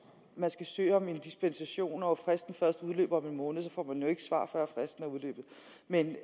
man skal søge om en dispensation og fristen først udløber om en måned så får man jo ikke svar før fristen er udløbet men